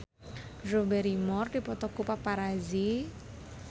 Drew Barrymore dipoto ku paparazi